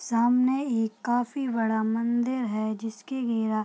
सामने एक काफी बड़ा मंदिर है जिसकी --